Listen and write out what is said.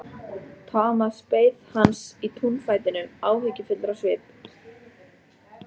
Thomas beið hans í túnfætinum, áhyggjufullur á svip.